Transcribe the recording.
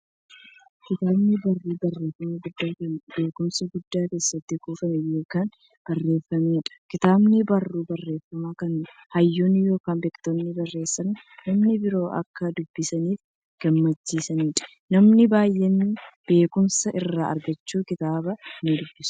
Kitaabni barruu barreeffamaa guddaa, kan beekumsi guddaan keessatti kuufame yookiin barreefameedha. Kitaabni barruu barreeffamaa, kan hayyoonni yookiin beektonni barreessanii, namni biroo akka dubbisaniif gumaachaniidha. Namoonni baay'eenis beekumsa irraa argachuuf kitaabicha nidubbisu.